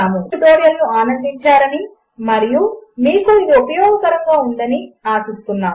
మీరు ఆనందించారని మరియు మీకు ఉపయోగకరముగా ఉందని ఆశిస్తున్నాము